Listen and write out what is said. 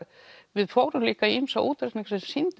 við fórum líka í ýmsa útreikninga sem sýndu